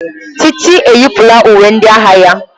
Titi yipụla uwe ndị agha ya.